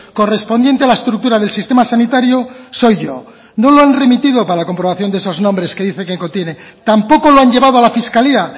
correspondiente a la estructura del sistema sanitario soy yo no lo han remitido para la comprobación de esos nombres que dicen que tiene tampoco lo han llevado a la fiscalía